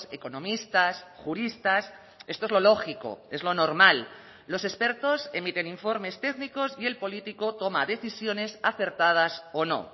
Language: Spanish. economistas juristas esto es lo lógico es lo normal los expertos emiten informes técnicos y el político toma decisiones acertadas o no